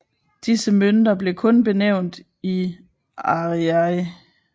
Disse mønter blev kun benævnt i ariary